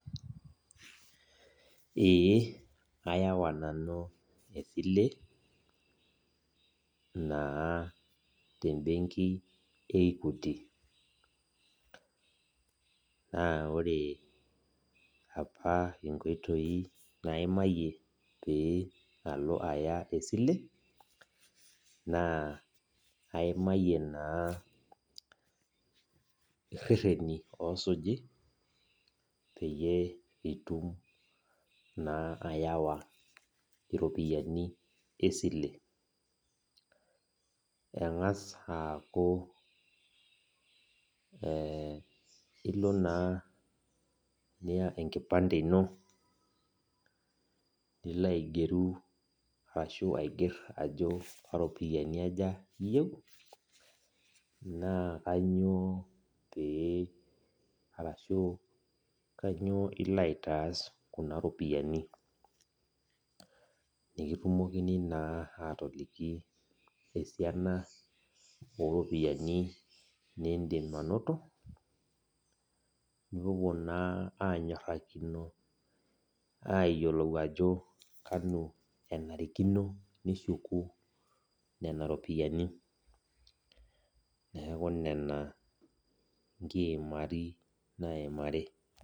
Ee ayawa nanu esile, naa tebenki e Equity. Naa ore apa inkoitoi naimayie pee alo aya esile, naa aimayie naa irrerreni osuji peyie itum naa ayawa iropiyiani esile. Eng'as aaku ilo naa niya enkipande ino, nilo aigeru ashu aiger ajo karopiyiani aja iyieu, naa kanyioo pee arashu kanyioo ilo aitaas kuna ropiyiani. Nikitumokini naa atoliki esiana oropiyiani nidim anoto, nipuopuo naa anyorrakino ayiolou ajo kanu enarikino nishuku nena ropiyaiani. Neeku nena inkiimari naimari.